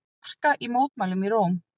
Harka í mótmælum í Róm